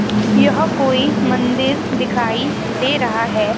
यह कोई मंदिर दिखाई दे रहा है।